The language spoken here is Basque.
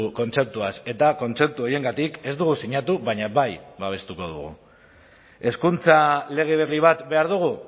kontzeptuaz eta kontzeptu horiengatik ez dugu sinatu baina bai babestuko dugu hezkuntza lege berri bat behar dugu